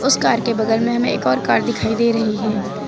Car के बगल में हमें एक और कार दिखाई दे रही है।